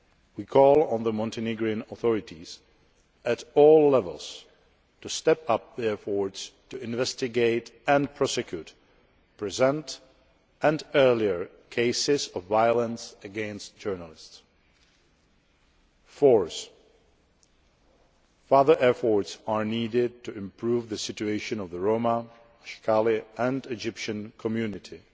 We call on the Montenegrin authorities, at all levels, to step up their efforts to investigate and prosecute current and past cases of violence against journalists. Fourthly, further efforts are needed to improve the situation of the Roma, Ashkali and Egyptian communities